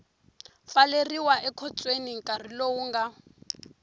pfaleriwa ekhotsweni nkarhi lowu nga